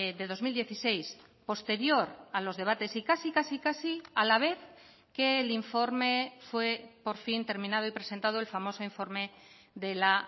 de dos mil dieciséis posterior a los debates y casi casi casi a la vez que el informe fue por fin terminado y presentado el famoso informe de la